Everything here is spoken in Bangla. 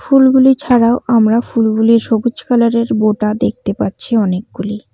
ফুলগুলি ছাড়াও আমরা ফুলগুলির সবুজ কালার -এর বোটা দেখতে পাচ্ছি অনেকগুলি।